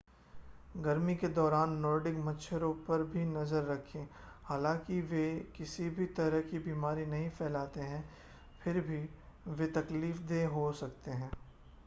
गर्मी के दौरान नॉर्डिक मच्छरों पर भी नज़र रखें हालांकि वे किसी भी तरह की बीमारी नहीं फैलाते हैं फिर भी वे तकलीफ़देह हो सकते हैं